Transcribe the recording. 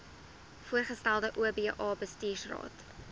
voorgestelde oba bestuursraad